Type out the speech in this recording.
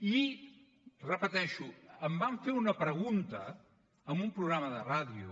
i ho repeteixo em van fer una pregunta en un programa de ràdio